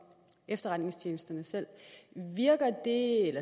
efterretningstjenesterne selv